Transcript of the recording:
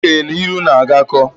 Ndị okenye na ilu na agakọ